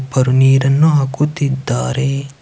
ಇವರು ನೀರನ್ನು ಹಾಕುತ್ತಿದ್ದಾರೆ ಇವರು ನೀರನ್ನು ಹಾಕುತ್ತಿದ್ದಾರೆ.